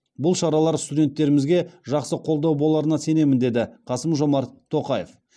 бұл шаралар студенттерімізге жақсы қолдау боларына сенемін деді қасым жомарт тоқаев